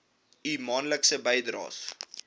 u maandelikse bydraes